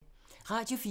Radio 4